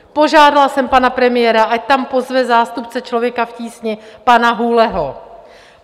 Požádala jsem pana premiéra, ať tam pozve zástupce Člověka v tísni, pana Hůleho.